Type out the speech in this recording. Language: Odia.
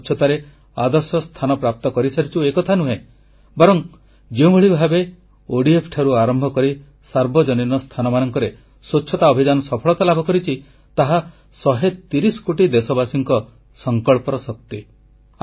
ଆମେ ସ୍ୱଚ୍ଛତାରେ ଆଦର୍ଶ ସ୍ଥାନ ପ୍ରାପ୍ତ କରିସାରିଛୁ ଏକଥା ନୁହେଁ ବରଂ ଯେଉଁଭଳି ଭାବେ ଘରଠାରୁ ଆରମ୍ଭ କରି ସାର୍ବଜନୀନ ସ୍ଥାନମାନଙ୍କରେ ସ୍ୱଚ୍ଛତା ଅଭିଯାନ ସଫଳତା ଲାଭ କରିଛି ତାହା ଶହେ ତିରିଶ କୋଟି ଦେଶବାସୀଙ୍କ ସଂକଳ୍ପର ଶକ୍ତି